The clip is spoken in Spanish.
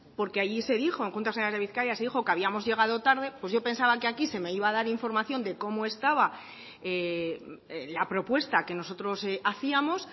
porque allí se dijo en juntas generales de bizkaia se dijo que habíamos llegado tarde pues yo pensaba aquí se me iba a dar información de cómo estaba la propuesta que nosotros hacíamos